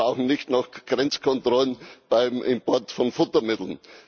Wir brauchen nicht noch Grenzkontrollen beim Import von Futtermitteln.